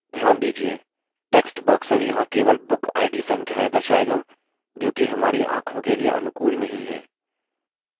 ध्यान दीजिये text box यहाँ केवल bookid संख्याएँ दर्शाएगा जोकि हमारी आँखों के लिए अनुकूल नहीं है